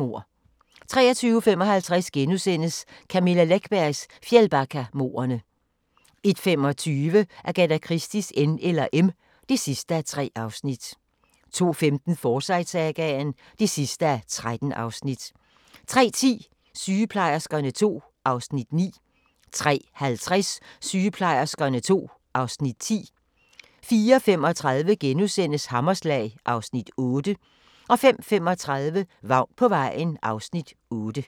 23:55: Camilla Läckbergs Fjällbackamordene * 01:25: Agatha Christies N eller M (3:3) 02:15: Forsyte-sagaen (13:13) 03:10: Sygeplejerskerne II (Afs. 9) 03:50: Sygeplejerskerne II (Afs. 10) 04:35: Hammerslag (Afs. 8)* 05:35: Vagn på vejen (Afs. 8)